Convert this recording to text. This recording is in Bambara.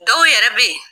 Dɔw yɛrɛ bɛ yen